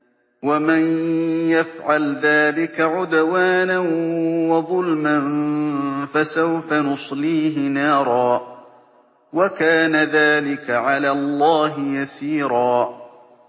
وَمَن يَفْعَلْ ذَٰلِكَ عُدْوَانًا وَظُلْمًا فَسَوْفَ نُصْلِيهِ نَارًا ۚ وَكَانَ ذَٰلِكَ عَلَى اللَّهِ يَسِيرًا